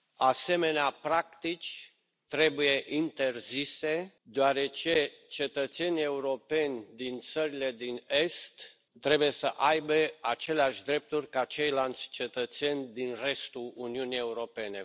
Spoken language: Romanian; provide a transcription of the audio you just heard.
Asemenea practici trebuie interzise, deoarece cetățenii europeni din țările din Est trebuie să aibă aceleași drepturi ca ceilalți cetățeni din restul Uniunii Europene.